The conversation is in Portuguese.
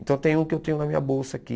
Então tem um que eu tenho na minha bolsa aqui.